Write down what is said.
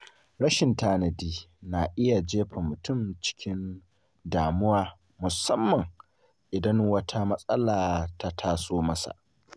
Rashin tanadi na iya jefa mutum cikin damuwa musamman idan wata matsala ta taso masa.